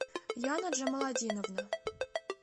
яна джамаладиновна